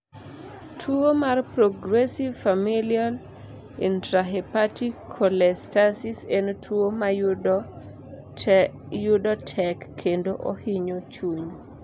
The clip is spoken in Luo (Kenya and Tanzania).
tuo mar Progressive familial intrahepatic cholestasis en tuo mayudo tek kendo ohinyo chuny